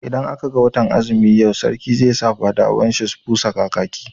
Idan aka ga watan azumi yau, Sarki zai saka fadawan shi busa kakaki.